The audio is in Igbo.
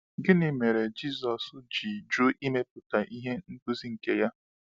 Gịnị mere Jisọs ji jụ imepụta ihe nkuzi nke ya?